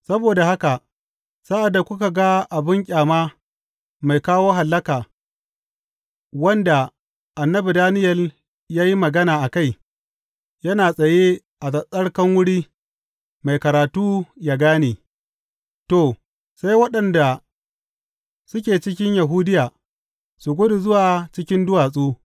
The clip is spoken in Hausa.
Saboda haka sa’ad da kuka ga abin ƙyama mai kawo hallaka,’ wanda annabi Daniyel ya yi magana a kai, yana tsaye a tsattsarkan wuri mai karatu yă gane, to, sai waɗanda suke cikin Yahudiya, su gudu zuwa cikin duwatsu.